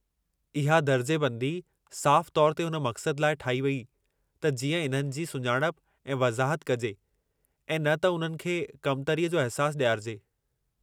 इहा दर्जेबंदी साफ़ु तौर ते उन मक़सद लाइ ठाही वेई त जीअं इन्हनि जी सुञाणप ऐं वज़ाहत कजे ऐं न त उन्हनि खे कमतरीअ जो अहिसासु ॾियारिजे।